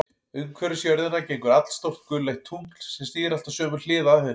Umhverfis jörðina gengur allstórt gulleitt tungl, sem snýr alltaf sömu hlið að henni.